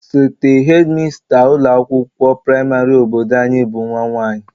Osote hedịmasta ụlọakwụkwọ praịmarị obodo anyị bụ nwa nwaanyị